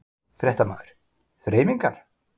Fréttamaður: Þreifingar?